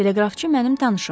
Teleqrafçı mənim tanışımdı.